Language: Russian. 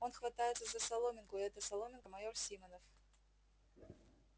он хватается за соломинку и эта соломинка майор симонов